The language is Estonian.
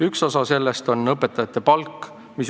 Üks meede on õpetajate palga tõstmine.